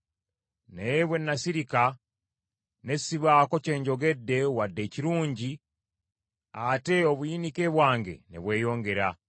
Naye bwe nasirika ne sibaako kye njogedde wadde ekirungi, ate obuyinike bwange ne bweyongera.